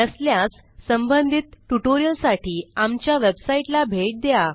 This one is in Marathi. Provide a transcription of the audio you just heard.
नसल्यास संबंधित ट्युटोरियलसाठी आमच्या वेबसाईटला भेट द्या